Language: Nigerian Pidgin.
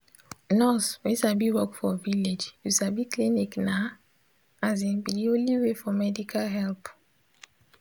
nurse wey sabi work for village you sabi clinic na asin be de only way for medical help.